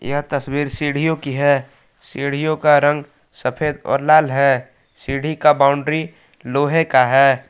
यह तस्वीर सीढ़ियो की है सीढ़ियो का रंग सफेद और लाल है सीढ़ी का बॉउंड्री लोहे का है।